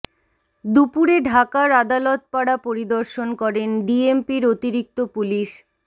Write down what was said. দুপুরে ঢাকার আদালত পাড়া পরিদর্শন করেন ডিএমপির অতিরিক্ত পুলিশ